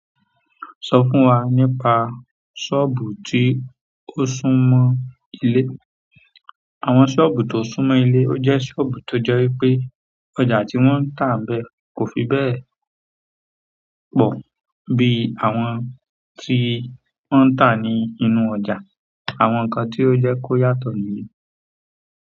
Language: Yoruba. Sọ fún wa nípa sọ́ọ̀bù tí ó súmọ́ ilé àwọn ṣọ́ọ̀bù tó súnmọ́ ilé. Ó jẹ́ ṣọ́ọ̀bù tó jẹ́ wípé ọjà tí wọ́n ta kò fi be pọ̀ bí àwọn tí wọ́n ń ta nínú ọjà àwọn nǹkan tó jẹ́ kí ó yàtọ̀ nìyẹn.